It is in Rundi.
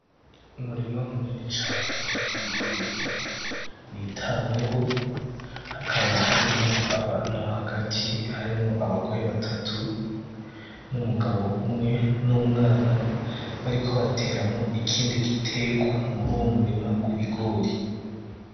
Umurima munini cane w'ibigori, witaweho. Hakaba harimwo abantu hagati harimwo abagore batatu n'umugabo umwe n'umwana, bariko bateramwo ikindi giterwa, muri uwo murima w'ibigori.